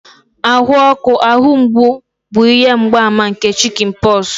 ahụ ọkụ, ahụ mgbu bụ ihe mgbaàmà nke chickenpox